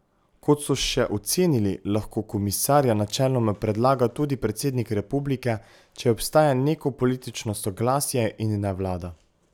Kot so še ocenili, lahko komisarja načeloma predlaga tudi predsednik republike, če obstaja neko politično soglasje, in ne vlada.